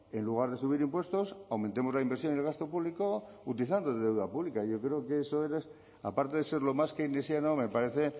en lugar de subir impuestos aumentemos la inversión y el gasto público utilizando deuda pública yo creo que eso aparte de ser lo más keynesiano me parece